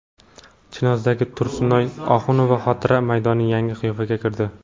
Chinozdagi Tursunoy Oxunova xotira maydoni yangi qiyofaga kirdi .